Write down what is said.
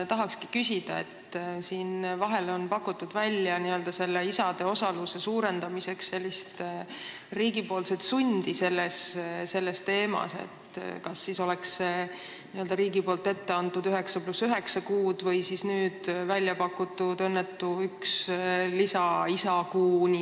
Tahan küsida selle teema kohta, et vahel on pakutud riigi sundi isade osaluse suurendamiseks: riigi etteantud 9 + 9 kuud või see nüüd pakutud õnnetu nn lisaisakuu.